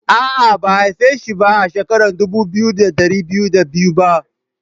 Aa, Ba'a haife shi ba a'shekaran dubu biyu da dari biyu da biyu ba.